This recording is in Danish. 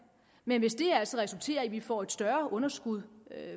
men hvis det altså resulterer i at vi får et større underskud